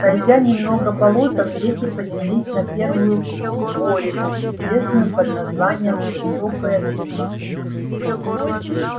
пройдя немного болотом дети поднялись на первую борину известную под названием высокая грива